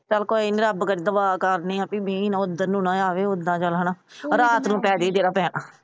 ਚੱਲ ਕੋਈ ਨਹੀਂ ਰੱਬ ਕੋਲੋਂ ਦੁਆ ਕਰਦੇ ਆ ਵੀ ਮੀਹ ਨਾ ਏਧਰ ਨਾ ਆਵੇ। ਓਦਾਂ ਚੱਲ ਹਣਾ ਰਾਤ ਨੂੰ ਪੈ ਜੀ ਜਿਹੜਾ ਪੈਣਾ।